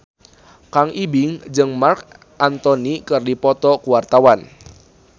Kang Ibing jeung Marc Anthony keur dipoto ku wartawan